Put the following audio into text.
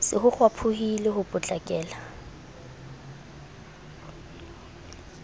se ho kgwaphohile ho potlakela